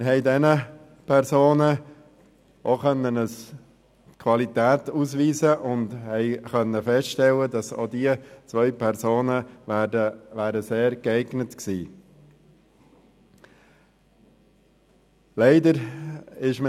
Wir haben diesen Personen Qualitäten attestieren können und festgestellt, dass auch diese beiden sehr geeignet gewesen wären.